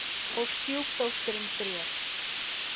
Og stjúpdóttirin grét.